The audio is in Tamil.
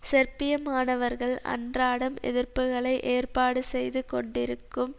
செர்பிய மாணவர்கள் அன்றாடம் எதிர்ப்புக்களை ஏற்பாடு செய்து கொண்டிருக்கும்